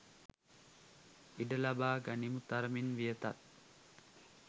ඉඩ ලබා ගනිමු තරමින් වියතක්